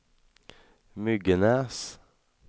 Myggenäs